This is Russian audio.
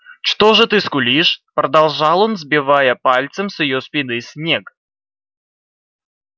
что же ты скулишь продолжал он сбивая пальцем с её спины снег